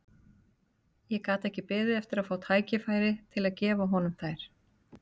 Ég gat ekki beðið eftir að fá tækifæri til að gefa honum þær.